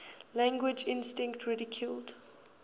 language instinct ridiculed